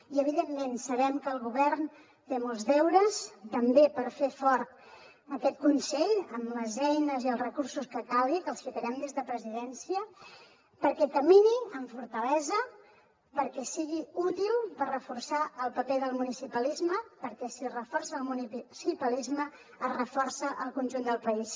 i evidentment sabem que el govern té molts deures també per fer fort aquest consell amb les eines i els recursos que calgui que els ficarem des de presidència perquè camini amb fortalesa perquè sigui útil per reforçar el paper del municipalisme perquè si es reforça el municipalisme es reforça el conjunt del país